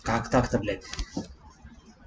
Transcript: как так то блядь